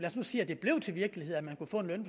os nu sige at det blev til virkelighed at man